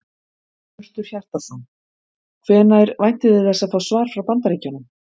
Hjörtur Hjartarson: Hvenær væntið þið þess að fá svar frá Bandaríkjunum?